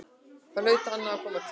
Þar hlaut annað að koma til.